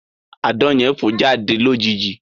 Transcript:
Àdán yẹn fọ̀ jáde lójijì